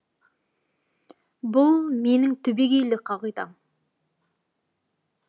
бұл менің түбегейлі қағидам